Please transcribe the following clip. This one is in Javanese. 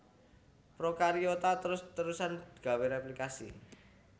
Prokariota terus terusan gawé réplikasi